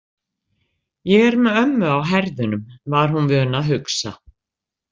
Ég er með ömmu á herðunum, var hún vön að hugsa.